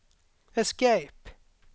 escape